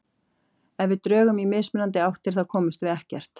Ef við drögum í mismunandi áttir þá komumst við ekkert.